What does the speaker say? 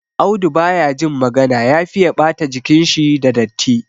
Audu ba ya jin magana ya fiye ɓata jikinshi da datti.